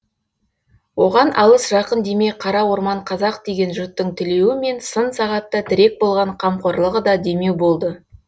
оған алыс жақын демей қара орман қазақ деген жұрттың тілеуі мен сын сағатта тірек болған қамқорлығы да демеу болды